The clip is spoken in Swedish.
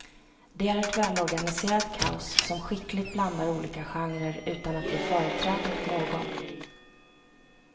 Det är ett välorganiserat kaos som skickligt blandar olika genrer utan att ge företräde åt någon.